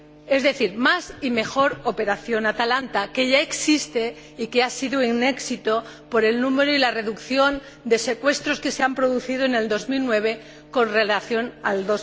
Es decir, más y mejor Operación Atalanta, que ya existe y que ha sido un éxito por el número y la reducción de secuestros que se han producido en 2009 con relación a